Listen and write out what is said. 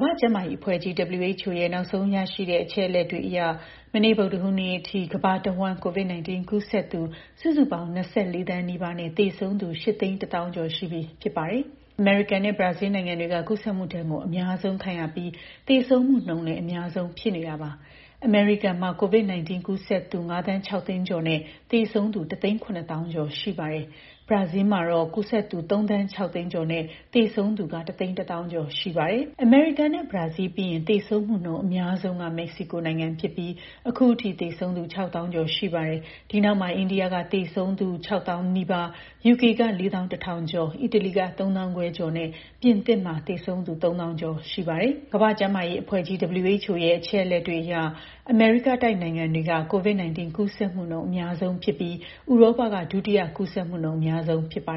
္ဘာ့ကျန်းမာရေးအဖွဲ့ (WHO) ရဲ့ နောက်ဆုံးရရှိတဲ့ အချက်အလက်တွေအရ မနေ့ ဗုဒ္ဓဟူးနေ့ အထိ ကမ္ဘာတဝန်း COVID-19 ကူးစက်သူ စုစုပေါင်း ၂၄ သန်းနီးပါးနဲ့ သေဆုံးသူ ၈၁၀,၀၀၀ ကျော်ရှိပြီဖြစ်ပါတယ်။ အမေရိကန်နဲ့ ဘရာဇီးလ်နိုင်ငံတွေက ကူးစက်မှုဒဏ်ကို အများဆုံးခံရပြီး သေဆုံးမှုနှုန်းလည်း အများဆုံးဖြစ်နေတာပါ။ အမေရိကန်မှာ COVID-19 ကူးစက်သူ ၅,၆၀၀,၀၀၀ ကျော်နဲ့ သေဆုံးသူ ၁၇၀,၀၀၀ ကျော်ရှိပါတယ်။ ဘရာဇီးလ်ကတော့ ကူးစက်သူ ၃,၆၀၀,၀၀၀ ကျော်နဲ့ သေဆုံးသူ ၁၁၀,၀၀၀ ကျော်ရှိတာပါ။ အမေရိကန်နဲ့ ဘရာဇီးလ်ပြီးရင် သေဆုံးမှုနှုန်းအများဆုံးက မက္ကဆီကိုဖြစ်ပြီး အခုထိသေဆုံးသူ ၆၀,၀၀၀ ကျော်ရှိပါတယ်။ ဒီနောက်မှာ အိန္ဒိယကသေဆုံးသူ ၆၀,၀၀၀ နီးပါး၊ UK က ၄၁,၀၀၀ ကျော်၊ အီတလီက ၃၅,၀၀၀ ကျော်နဲ့ ပြင်သစ်မှာ ၃၀,၀၀၀ ကျော် ရှိပါတယ်။ WHO ရဲ့ အချက်အလက်တွေအရ အမေရိကတိုက်နိုင်ငံတွေက COVID-19 ကူးစက်မှု အများဆုံးဖြစ်ပြီး ဥရောပက ဒုတိယ ကူးစက်မှုနှုန်းအများဆုံးဖြစ်ပါ